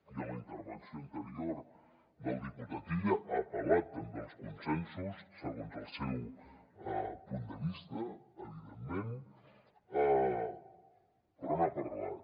i a la intervenció anterior el diputat illa ha apel·lat també als consensos segons el seu punt de vista evidentment però n’ha parlat